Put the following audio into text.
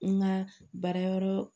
N ka baarayɔrɔ